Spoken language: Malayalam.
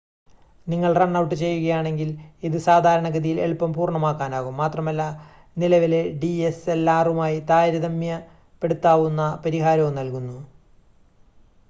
നിങ്ങൾ റൺ ഔട്ട് ചെയ്യുകയാണെങ്കിൽ ഇത് സാധാരണഗതിയിൽ എളുപ്പം പൂർണ്ണമാക്കാനാകും മാത്രമല്ല നിലവിലെ ഡിഎസ്എൽആറുമായി താരതമ്യപ്പെടുത്താവുന്ന പരിഹാരവും നൽകുന്നു